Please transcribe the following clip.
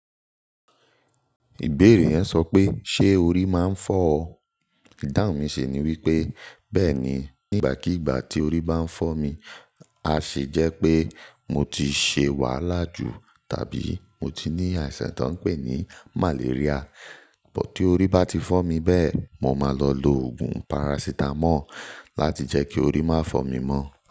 Ìbéèrè yẹn sọ pé ṣe orí máa ń fọ́ ọ. Ìdáhùn mi si ni wípé bẹẹ ni, nígbàkígbà tí orí bá ń fọ́ mi, a ṣe jẹ́ pé mo ti ṣe wàhálà jù tàbí mo ti ní àìsàn tán pè ní màléríà. But tí orí bá ti fọ́ mi bẹ́ẹ̀, mo máa lọ lo oogùn parasítámọ̀ láti jẹ́ kí orí má fọ́ mi mọ́.